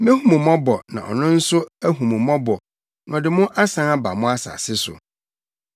Mehu mo mmɔbɔ na ɔno nso ahu mo mmɔbɔ na ɔde mo asan aba mo asase so.’